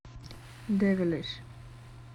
девилиш